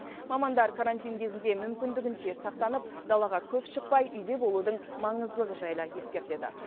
мамандар карантин кезінде мүмкіндігінше сақтанып далаға көп шықпай үйде болудың маңыздылығы жайлы ескертеді